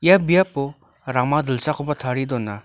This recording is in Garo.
ia biapo rama dilsakoba tarie dona.